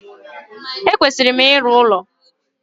E kwesịrị m ịrụ ụlọ